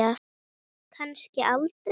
Kannski aldrei.